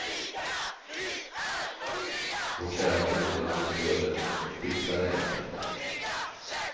Vårt kära broderland i söder fixade det inte.